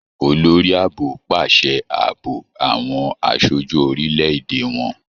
Olórí Ààbò pàṣẹ ààbò àwọn aṣojú orílè-èdè wọn.